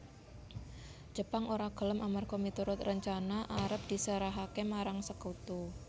Jepang ora gelem amerga miturut rencana arep diserahaké marang Sekutu